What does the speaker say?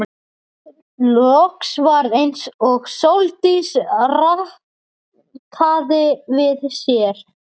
Hugrún Halldórsdóttir: Er verið að pakka inn síðustu gjöfunum?